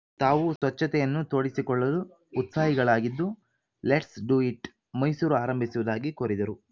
ತಾವೂ ಸ್ವಚ್ಛತೆಯನ್ನು ತೋಡಿಸಿಕೊಳ್ಳಲು ಉತ್ಸಾಹಿಗಳಾಗಿದ್ದು ಲೆಟ್ಸ್‌ ಡು ಇಟ್‌ ಮೈಸೂರು ಆರಂಭಿಸುವುದಾಗಿ ಕೋರಿದರು